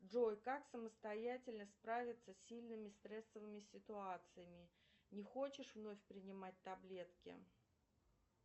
джой как самостоятельно справиться с сильными стрессовыми ситуациями не хочешь вновь принимать таблетки